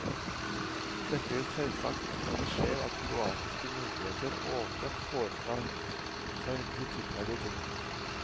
Dette vil selvsagt ikke skje ved at kroatiske myndigheter åpent foretar seg kritikkverdige ting.